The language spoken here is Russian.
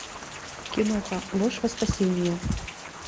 киноха ложь во спасение